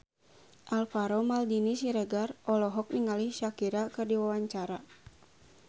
Alvaro Maldini Siregar olohok ningali Shakira keur diwawancara